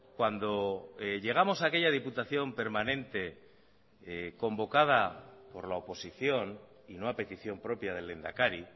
cuando llegamos a aquella diputación permanente convocada por la oposición y no a petición propia del lehendakari